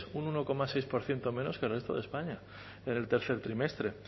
un uno coma seis por ciento menos que el resto de españa en el tercer trimestre